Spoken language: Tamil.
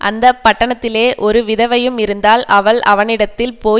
அந்த பட்டணத்திலே ஒரு விதவையும் இருந்தாள் அவள் அவனிடத்தில் போய்